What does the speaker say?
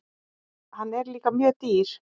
Hann er líka mjög dýr.